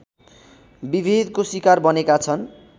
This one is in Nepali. विभेदको शिकार बनेका छन्